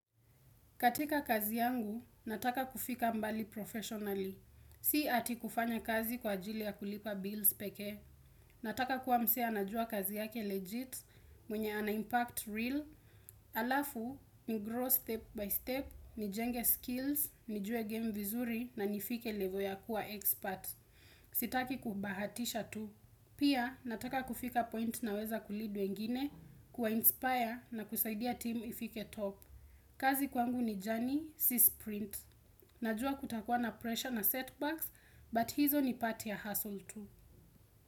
Katika kazi yangu, nataka kufika mbali professionally. Si eti kufanya kazi kwa ajili ya kulipa bills pekee. Nataka kuwa mzee anajua kazi yake legit, mwenye ana impact real. Alafu, ni grow step by step, nijenge skills, nijue game vizuri na nifike level ya kuwa expert. Sitaki kubahatisha tu. Pia, nataka kufika point na weza ku lead wengine, kuwa inspire na kusaidia team ifike top. Kazi kwangu ni journey, si sprint. Najua kutakuwa na pressure na setbacks, but hizo ni part ya hustle tu.